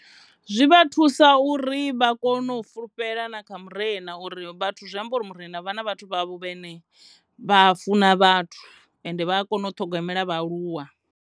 Zwi vha thusa uri vha kone u fulufhela na kha murena uri vhathu zwi amba uri murena vha na vhathu vhavho vhane vha funa vhathu ende vha a kona u ṱhogomela vhaaluwa.